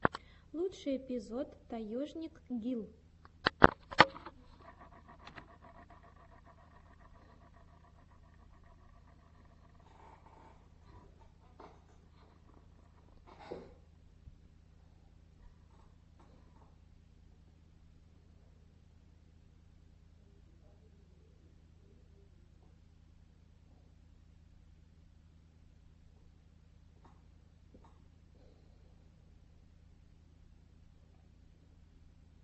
лучший эпизод таежник гил